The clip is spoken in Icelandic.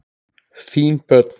Þín börn.